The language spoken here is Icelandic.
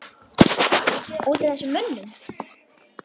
Út af þessum mönnum?